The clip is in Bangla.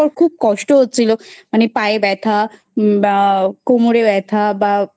পর খুব কষ্ট হচ্ছিলো মানে পায়ে ব্যথা বা কোমরে ব্যথা বা